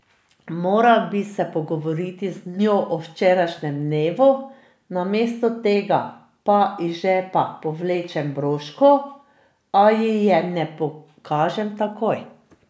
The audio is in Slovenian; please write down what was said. Moral bi se pogovoriti z njo o včerajšnjem dnevu, namesto tega pa iz žepa povlečem broško, a ji je ne pokažem takoj.